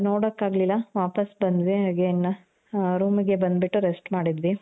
ಅದು ನೋಡಕಾಗ್ಲಿಲ್ಲ. ವಾಪಾಸ್ ಬಂದ್ವಿ again ಹ room ಗೆ ಬಂದು ಬಿಟ್ಟು rest ಮಾಡಿದ್ವಿ .